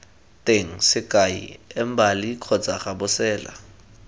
teng sekai embali kgotsa gabosela